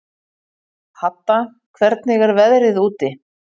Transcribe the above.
Hadda, hvernig er veðrið úti?